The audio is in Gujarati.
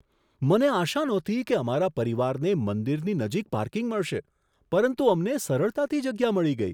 મને આશા નહોતી કે અમારા પરિવારને મંદિરની નજીક પાર્કિંગ મળશે, પરંતુ અમને સરળતાથી જગ્યા મળી ગઈ.